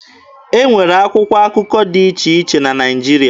E nwere akwụkwọ akụkọ dị iche iche na Naịjirịa.